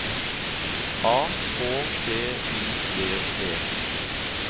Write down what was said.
A K T I V E